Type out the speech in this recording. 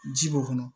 Ji b'o kɔnɔ